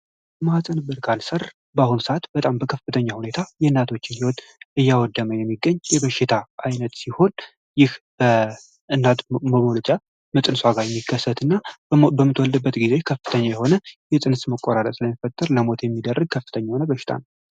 የማህፀን በር ካንሰር በአሁኑ ሰአት በከፍተኛ ሁኔታ የናቶችን ህይወት እያወደመ ያለ በሽታ ሲሆነ ይህ እናት በመውለጃዋ ጊዜ የሚከሰት እና በምትወልድበት ጊዜ የፅንስ መቆራረጥ ስለሚያስከትል ለሞት የሚዳርግ በሽታ ነው።